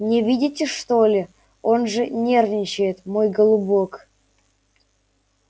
не видите что ли он же нервничает мой голубок